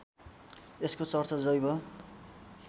यसको चर्चा जैव